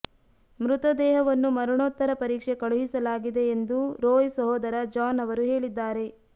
ಮೃತದೇಹವನ್ನು ಮರಣೋತ್ತರ ಪರೀಕ್ಷೆ ಕಳುಹಿಸಲಾಗಿದೆ ಎಂದು ರೋಯ್ ಸಹೋದರ ಜಾನ್ ಅವರು ಹೇಳಿದ್ದಾರೆ